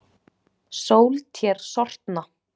Sól tér sortna.